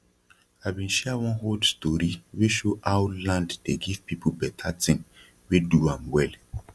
i bin share one old story wey show how land dey give people beta tin wey do am well